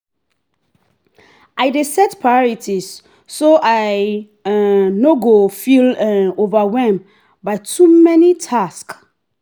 i dey set priorities so i um no go feel um overwhelmed by too many tasks.